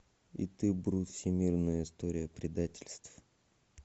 и ты брут всемирная история предательств